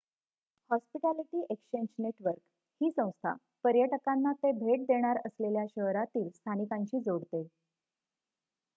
hospitality exchange network ही संस्था पर्यटकांना ते भेट देणार असलेल्या शहरांतील स्थानिकांशी जोडते